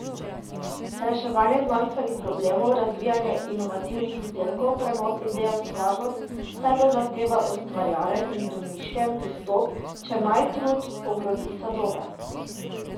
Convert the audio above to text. Reševanje znanstvenih problemov, razvijanje inovativnih izdelkov, prenos ideje v stvarnost, vse to zahteva ustvarjalen in domišljen pristop, če naj trud obrodi sadove.